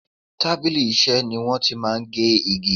Tábìlì Iṣẹ́ ni wọ́n ti máa ń gé igi